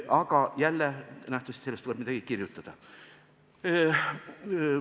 Aga jälle, nähtavasti sellest tuleb midagi kirjutada.